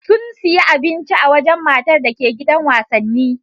Sun siyi abinci a wajan matar dake gidan wasanni